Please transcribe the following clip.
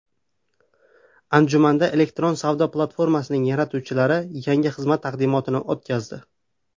Anjumanda elektron savdo platformasining yaratuvchilari yangi xizmat taqdimotini o‘tkazdi.